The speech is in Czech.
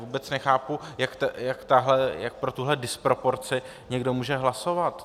Vůbec nechápu, jak pro tuhle disproporci někdo může hlasovat.